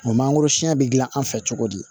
O mangoro sɛn be gilan anw fɛ cogo di